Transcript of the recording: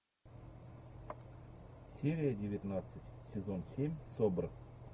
серия девятнадцать сезон семь собр